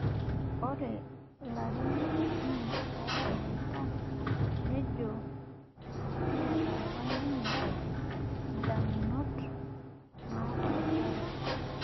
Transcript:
Ore larin okuni ooshomoita nejo neeta apa ninye indamunot naapashari